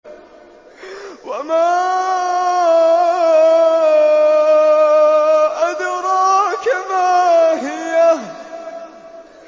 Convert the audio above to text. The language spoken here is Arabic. وَمَا أَدْرَاكَ مَا هِيَهْ